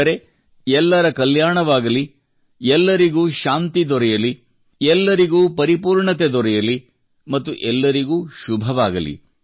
ಅಂದರೆ ಎಲ್ಲರ ಕಲ್ಯಾಣವಾಗಲಿ ಎಲ್ಲರಿಗೂ ಶಾಂತಿ ದೊರೆಯಲಿ ಎಲ್ಲರಿಗೂ ಪರಿಪೂರ್ಣತೆ ದೊರೆಯಲಿ ಮತ್ತು ಎಲ್ಲರಿಗೂ ಶುಭವಾಗಲಿ